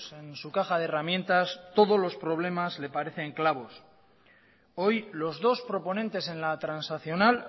en su caja de herramientas todos los problemas le parecen clavos hoy los dos proponentes en la transaccional